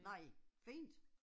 Nej, fint